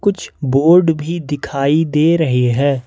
कुछ बोर्ड भी दिखाई दे रहे हैं।